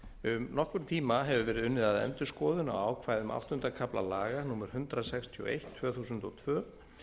um nokkurn tíma hefur verið unnið að endurskoðun á ákvæðum áttunda kafla laga númer hundrað sextíu og eitt tvö þúsund og tvö